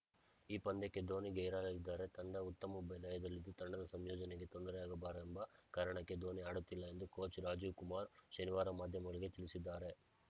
ಈ ಪಂದ್ಯಕ್ಕೆ ಧೋನಿ ಗೈರಾಗಲಿದ್ದಾರೆ ತಂಡ ಉತ್ತಮ ಲಯದಲ್ಲಿದ್ದು ತಂಡದ ಸಂಯೋಜನೆಗೆ ತೊಂದರೆಯಾಗಬಾರೆಂಬ ಕಾರಣಕ್ಕೆ ಧೋನಿ ಆಡುತ್ತಿಲ್ಲ ಎಂದು ಕೋಚ್‌ ರಾಜೀವ್‌ ಕುಮಾರ್‌ ಶನಿವಾರ ಮಾಧ್ಯಮಗಳಿಗೆ ತಿಳಿಸಿದ್ದಾರೆ